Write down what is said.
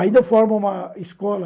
Ainda formam uma escola